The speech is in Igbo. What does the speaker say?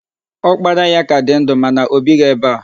Ọkpara ya ka di ndụ, mana o bighi ebe a.